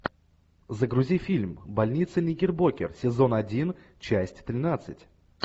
загрузи фильм больница никербокер сезон один часть тринадцать